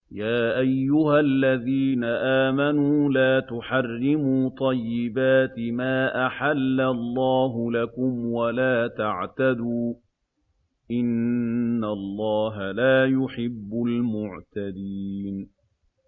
يَا أَيُّهَا الَّذِينَ آمَنُوا لَا تُحَرِّمُوا طَيِّبَاتِ مَا أَحَلَّ اللَّهُ لَكُمْ وَلَا تَعْتَدُوا ۚ إِنَّ اللَّهَ لَا يُحِبُّ الْمُعْتَدِينَ